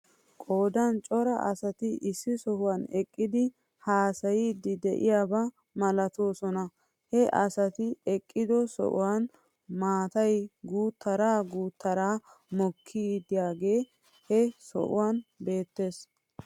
Qoodan cora asati issi sohuwan eqqidi haasayiiddi de'iyaaba malatoosona. He asati eqqido sohuwan maatay guuttaara guuttaara mokkidaagee he sohuwan beettes.